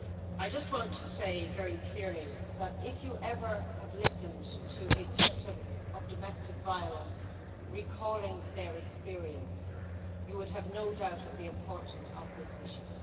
I just want to say very clearly that if you ever have listened to a victim of domestic violence recalling their experience, you would have no doubt of the importance of this issue.